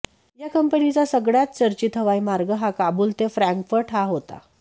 या कंपनीचा सगळ्यांत चर्चित हवाई मार्ग हा काबुल ते फ्रँकफर्ट हा होता